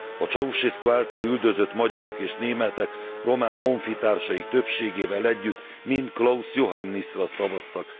A Ceausescu által üldözött magyarok és németek, román honfitársaik többségével együtt, mind Klaus Johannisra szavaztak.